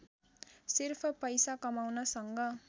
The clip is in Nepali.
सिर्फ पैसा कमाउनसँग